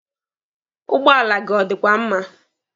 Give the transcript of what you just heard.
Ụgbọala gị ọ dịkwa mma?